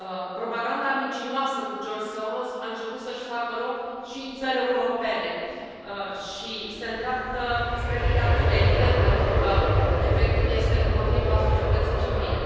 Propaganda mincinoasă cu George Soros a început să și facă loc și în țări europene și se îndreaptă spre dictatură, evident, pentru că efectul este împotriva societății civile.